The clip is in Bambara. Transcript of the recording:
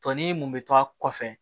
Tɔni mun bɛ to a kɔfɛ